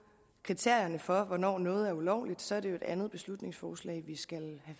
kriterierne for hvornår noget er ulovligt er det jo et andet beslutningsforslag vi skal